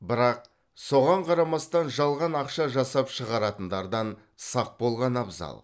бірақ соған қарамастан жалған ақша жасап шығаратындардан сақ болған абзал